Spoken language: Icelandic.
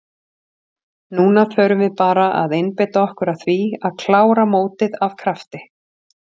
Núna förum við bara að einbeita okkur að því að klára mótið af krafti.